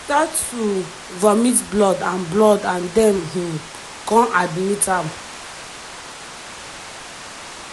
im start to vomit blood and blood and dem um kon admit am.